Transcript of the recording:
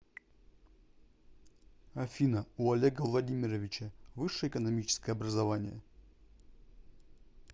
афина у олега владимировича высшее экономическое образование